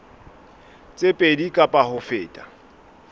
tse pedi kapa ho feta